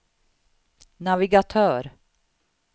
navigatör